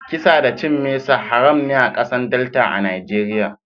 Kisa da cin mesa haram ne a kasan Delta a'Nijeriya.